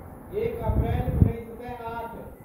एक अप्रैल उन्नैस सए आठ